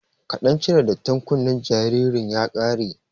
Kaɗan cire dattin kunnen jaririn ya ƙare